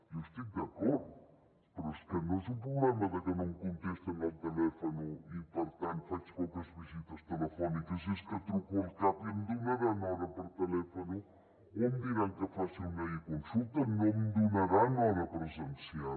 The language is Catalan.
jo hi estic d’acord però és que no és un problema de que no em contesten al telèfon i per tant faig poques visites telefòniques és que truco al cap i em donaran hora per telèfon o em diran que faci una econsulta no em donaran hora presencial